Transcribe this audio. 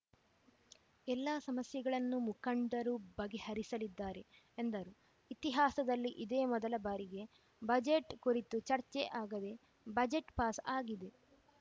ಎಲ್ಲ ಸಮಸ್ಯೆಗಳನ್ನು ಮುಖಂಡರು ಬಗೆಹರಿಸಲಿದ್ದಾರೆ ಎಂದರು ಇತಿಹಾಸದಲ್ಲಿ ಇದೇ ಮೊದಲ ಬಾರಿಗೆ ಬಜೆಟ್‌ ಕುರಿತು ಚರ್ಚೆ ಆಗದೇ ಬಜೆಟ್‌ ಪಾಸ್‌ ಆಗಿದೆ